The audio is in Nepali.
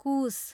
कुस